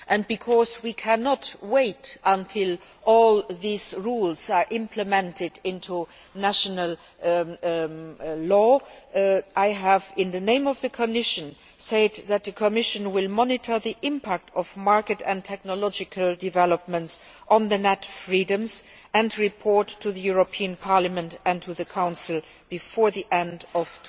Because we cannot wait until all these rules are implemented into national law, I have, in the name of the Commission, said that the Commission will monitor the impact of market and technological developments on the net freedoms and report to the European Parliament and the Council before the end of